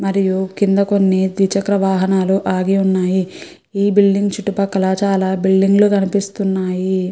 మరియు కింద కొన్ని ద్విచక్ర వాహనాలు ఆగివున్నాయి ఈ బిల్డింగ్ చుట్టుపక్కల చాలా బిల్డింగ్ లు కనిపిస్తున్నాయి.